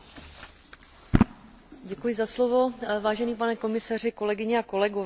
Budoucnost dopravy spočívá bezpochyby také v rozvoji a podpoře veřejné hromadné dopravy.